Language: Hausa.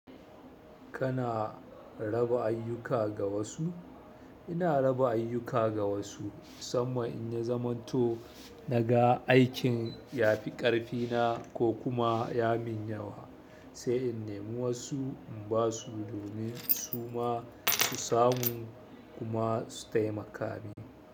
Kana raba ayyuka ga wasu? Ina raba ayyuka ga wasu musamman in ya zamanto naga aikin ya fi ƙarfina ko kuma ya min yawa, sai in nemi wasu in ba su domin su ma su samu kuma su taimaka mini.